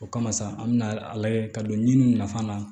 O kama sa an bɛna a lajɛ ka don ɲiniw nafa na